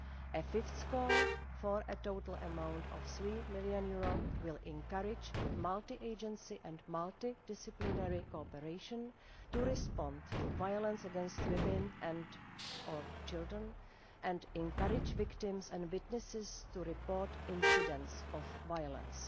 A fifth call for a total amount of EUR 3 million will encourage multi agency and multi disciplinary cooperation to respond to violence against women and or children, and encourage victims and witnesses to report incidents of violence.